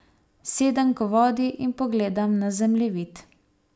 Sedem k vodi in pogledam na zemljevid.